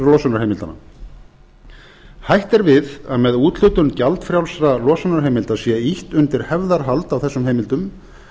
losunarheimildanna hætt er við að með úthlutun gjaldfrjálsra losunarheimilda sé ýtt undir hefðarhald á þessum heimildum